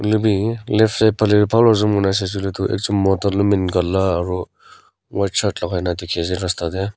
edubi left side phalae bhal pa saishey koilae tu ekjon mota lompan kala aro White shirt lakai na dikhi ase rasta tae.